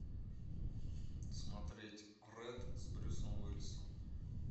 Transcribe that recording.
смотреть рэд с брюсом уиллисом